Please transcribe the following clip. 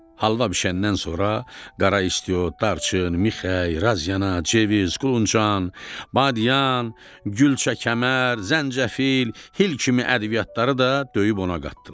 Halva bişəndən sonra qara istiot, darçın, mixək, razana, ceviz, quluncan, badyan, gülçəkəmər, zəncəfil, hil kimi ədviyatları da döyüb ona qatdılar.